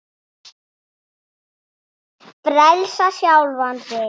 Frelsa sjálfa sig.